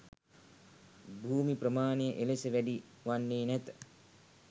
භූමි ප්‍රමාණය එලෙස වැඩි වන්නේ නැත.